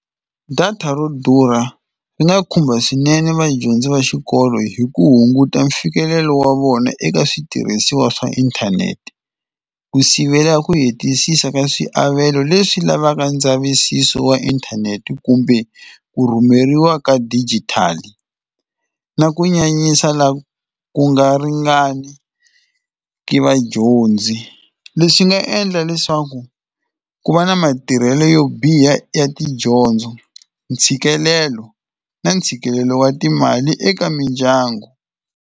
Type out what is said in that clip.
Data ro durha ri nga khumba swinene vadyondzi va xikolo hi ku hunguta mfikelelo wa vona eka switirhisiwa swa inthanete. Ku sivelela ku hetisisa ka swiavelo leswi lavaka ndzavisiso wa inthanete kumbe ku rhumeriwa ka digital, na ku nyanyisa laha ku nga ringani ka vadyondzi. Leswi swi nga endla leswaku ku va na matirhelo yo biha ya tidyondzo, ntshikelelo na ntshikelelo wa timali eka mindyangu.